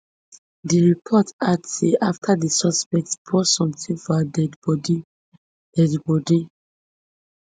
di report add say afta di suspect pour sometin for her deadi bodi deadi bodi